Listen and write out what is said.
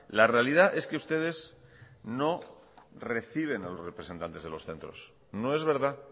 la realidad es que ustedes no reciben a los representantes de los centros no es verdad